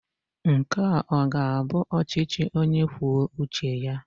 Nke a ọ ga-abụ ọchịchị onye kwuo uche ya?